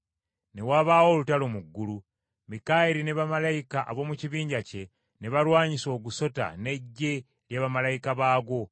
Ne wabaawo olutalo mu ggulu. Mikayiri ne bamalayika ab’omu kibinja kye ne balwanyisa ogusota n’eggye lya bamalayika baagwo.